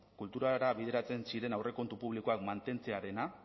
kulturara bideratzen ziren aurrekontu publikoak mantentzea